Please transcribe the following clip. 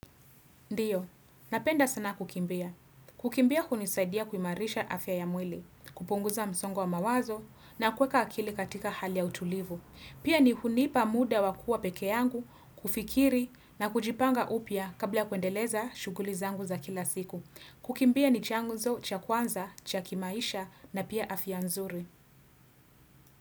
Ndiyo, napenda sana kukimbia. Kukimbia hunisaidia kuimarisha afya ya mwili, kupunguza msongo wa mawazo na kuweka akili katika hali ya utulivu. Pia ni hunipa muda wa kuwa pekee yangu, kufikiri na kujipanga upya kabla kuendeleza shughuli zangu za kila siku. Kukimbia ni chanzo, cha kwanza, cha kimaisha na pia afya nzuri.